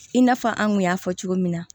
I n'a fɔ an kun y'a fɔ cogo min na